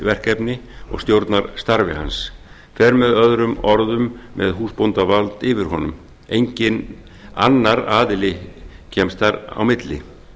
verkefni og stjórnar starfi hans fer með öðrum orðum með húsbóndavald yfir honum enginn annar aðili kemst þar á milli